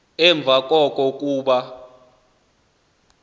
emva koko kuba